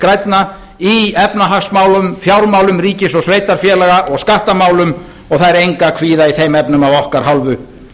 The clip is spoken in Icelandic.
grænna í efnahagsmálum fjármálum ríkis og sveitarfélaga og skattamálum og það er engu að kvíða í þeim efnum af okkar hálfu